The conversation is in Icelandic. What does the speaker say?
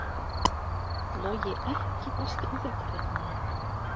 Logi EKKI besti íþróttafréttamaðurinn?